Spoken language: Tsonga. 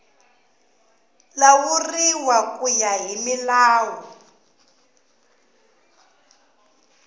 lawuriwa ku ya hi milawu